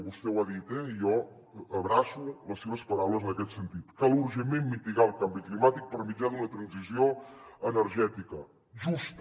vostè ho ha dit eh i jo abraço les seves paraules en aquest sentit cal urgentment mitigar el canvi climàtic per mitjà d’una transició energètica justa